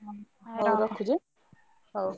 ହଉ ରଖୁଛି ଆଁ ହଉ।